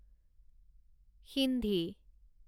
Sindhi